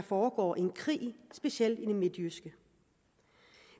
foregår en krig specielt i det midtjyske